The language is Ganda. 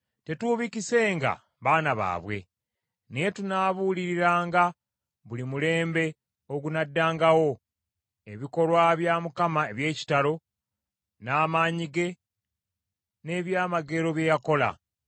Tetuubikisenga baana baabwe, naye tunaabuuliranga buli mulembe ogunnaddangawo ebikolwa bya Mukama eby’ekitalo, n’amaanyi ge n’ebyamagero bye yakola.